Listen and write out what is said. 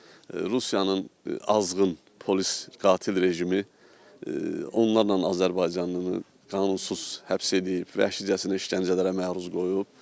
Rusiyanın azğın polis qatil rejimi onlarla azərbaycanlını qanunsuz həbs eləyib, vəhşicəsinə işgəncələrə məruz qoyub.